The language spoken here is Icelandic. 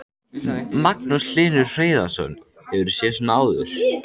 Magnús Hlynur Hreiðarsson: Hefurðu séð svona áður?